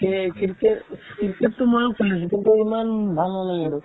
cricket cricket তো ময়ো খেলিছো কিন্তু ইমান ভাল নালাগে সেইটো